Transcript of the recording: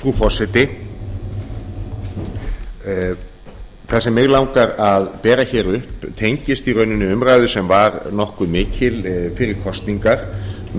frú forseti það sem mig langar að bera upp tengist í rauninni umræðu sem var nokkuð mikil fyrir kosningar